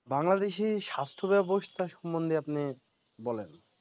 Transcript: বাংলাদেশের স্বাস্থ্য ব্যবস্থা সম্বন্ধে আপনি বলেন